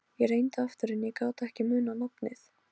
Ég reyndi aftur en ég gat ekki munað nafnið.